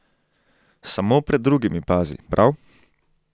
Samo pred drugimi pazi, prav?